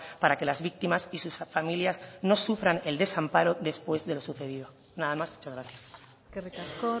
para que las víctimas y sus familias no sufran el desamparo después de lo sucedido nada más muchas gracias eskerrik asko